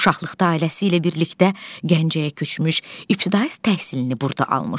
Uşaqlıqda ailəsi ilə birlikdə Gəncəyə köçmüş, ibtidai təhsilini burda almışdı.